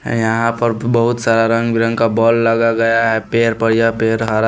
यहाँ पर बहुत सारा रंग बिरंग का बॉल लगा गया है पैर पर यह पैर हरा --